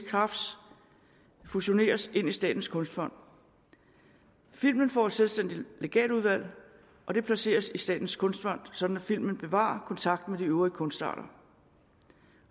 crafts fusioneres ind i statens kunstfond filmen får et selvstændigt legatudvalg og det placeres i statens kunstfond sådan at filmen bevarer kontakten med de øvrige kunstarter